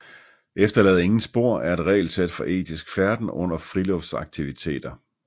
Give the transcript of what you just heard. Efterlad ingen spor er et regelsæt for etisk færden under friluftslivsaktiviteter